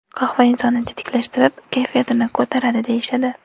Qahva insonni tetiklashtirib, kayfiyatini ko‘taradi deyishadi.